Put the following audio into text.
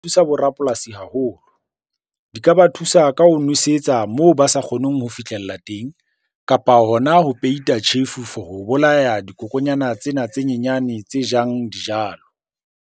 Thusa bo rapolasi haholo. Di ka ba thusa ka ho nwesetsa moo ba sa kgoneng ho fihlella teng, kapa hona ho peita tjhefu for ho bolaya dikokonyana tsena tse nyenyane tse jang dijalo.